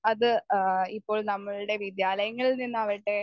speaker 1 അത് ഏഹ് ഇപ്പോൾ നമ്മളുടെ വിദ്യാലയങ്ങളിൽ നിന്നാകട്ടെ